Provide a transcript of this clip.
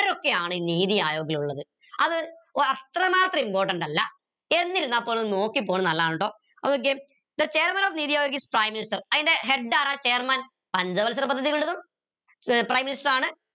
ആരൊക്കെയാണ് ഈ നീതി ആയോഗിൽ ഉള്ളത് അത് അത്രമാത്രം important അല്ല എന്നിരുന്നാപോലും നോക്കി പോണത് നല്ലതാണ് ട്ടോ the chairman of Neethi Aayog is Prime Minister അയിന്റെ head ആരാ chairman പഞ്ചവത്സര പദ്ധതികളുടതും prime minister ആണ്